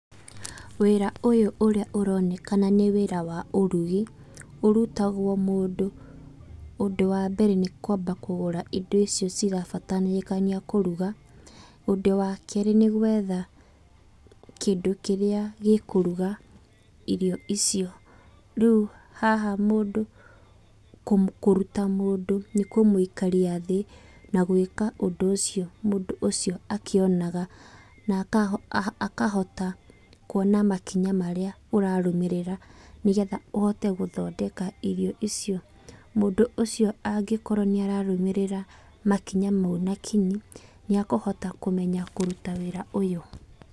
Wĩra ũyũ ũrĩa ũronekana nĩ wĩra wa ũrugi, ũrutagwo mũndũ, ũndũ wa mbere nĩ kwamba kũgũra indo icio irabataranĩkĩa kũruga. Ũndũ wa kerĩ nĩ gwetha kĩrĩa gĩkũruga irio icio. Rĩu haha mũndũ, kũruta mũndũ nĩ kũmũikaria thĩ, na gwĩka ũndũ ũcio mũndũ ũcio akĩonaga na akahota kuona makinya marĩa ũrarũmĩrĩra nĩ getha ũhote gũthondeka irio icio. Mũndũ ũcio angĩkorwo nĩ ararũmĩrĩra makinya mau na kinyi, nĩekũhota kũruta wĩra ũyũ